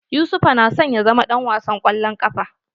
Yusufa na son ya zama ɗan wasan kwallon ƙafa.